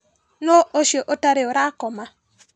Nũu ũcio ũtarĩ ũrakoma?